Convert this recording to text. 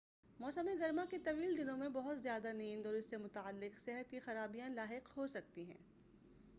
موسم گرما کے طویل دنوں میں بہت زیادہ نیند اور اس سے متعلق صحت کی خرابیاں لاحق ہوسکتی ہیں